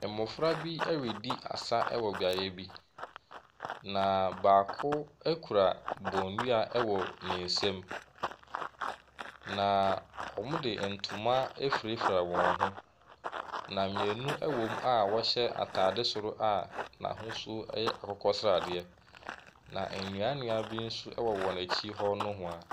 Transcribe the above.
Mmɔfra bi ɛredi asa wɔ beaeɛ bi, na baako kura bɔnnua wɔ ne nsam, na wɔde ntoma afurafura wɔn ho. Na mmienu wɔ mu a wɔhyɛ ataade soro a n’ahosuo yɛ akokɔsradeɛ. Na nnuannua bi nso wɔ wɔn akyi hɔ nohoa.